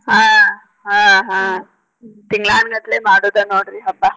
ಆಹ್ ಆಹ್ ಆಹ್. ತಿಂಗಳಾನಗಂಟ್ಲೆ ಮಾಡೋದ ನೋಡ್ರಿ ಹಬ್ಬ.